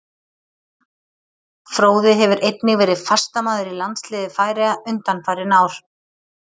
Fróði hefur einnig verið fastamaður í landsliði Færeyja undanfarin ár.